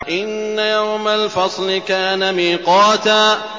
إِنَّ يَوْمَ الْفَصْلِ كَانَ مِيقَاتًا